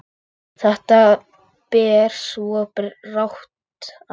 Þetta ber svo brátt að.